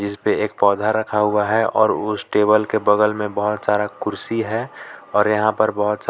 जिस पे एक पौधा रखा हुआ है और उस टेबल के बगल में बहुत सारा कुर्सी है और यहां पर बहुत सारा--